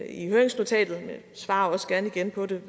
i høringsnotatet men jeg svarer også gerne gerne på det